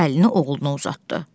Əlini oğluna uzatdı.